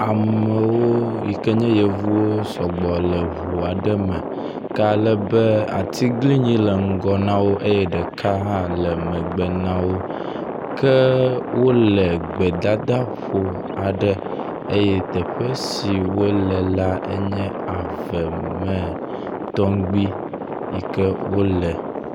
Amewo yike nye yevuwo sɔgbɔ le ʋua ɖe me, kealebe atiglinyi le ŋgɔ nawo eyɛ ɖeka hã le megbe nawo ke wóle gbedadaƒo aɖe eyɛ teƒe si wóle la enye ave me tɔmgbi yike wóle